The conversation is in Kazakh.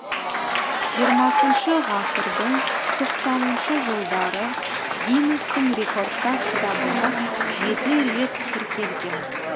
жиырмасыншы ғасырдың тоқсаныншы жылдары гиннестің рекордтар кітабына жеті рет тіркелген